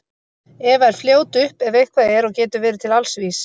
Eva er fljót upp ef eitthvað er og getur verið til alls vís.